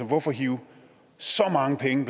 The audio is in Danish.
hvorfor hive så mange penge